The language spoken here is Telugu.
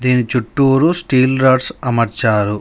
దీని చుట్టూరు స్టీల్ రోడ్స్ అమర్చారు.